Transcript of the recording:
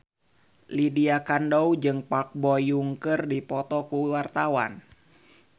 Lydia Kandou jeung Park Bo Yung keur dipoto ku wartawan